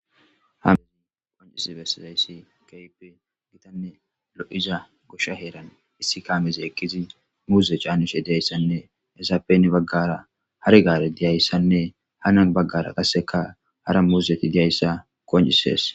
Hamizi qoncis bessizayssi kaype gitanne lo'iza goshsha heeran issi kaamezi ekkizi muuze caanishe deayssanne esappeni baggara har gaare diyayssanne hanan baggara qasseka hara muuzeti diyayssa qoncisees.